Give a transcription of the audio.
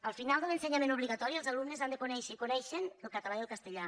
al final de l’ensenyament obligatori els alumnes han de conèixer i coneixen el català i el castellà